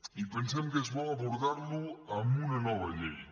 i pensem que és bo abordar lo amb una nova llei